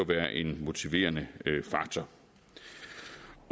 være en motiverende faktor